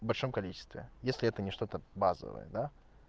в большом количестве если это не что-то базовая да